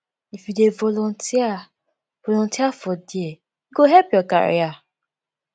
if you dey volunteer volunteer for there e go help your career